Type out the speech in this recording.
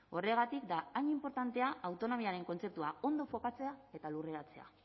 horregatik da hain inportantea autonomiaren kontzeptua ondo kokatzea eta lurperatzea